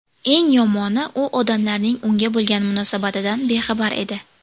Eng yomoni, u odamlarning unga bo‘lgan munosabatidan bexabar edi.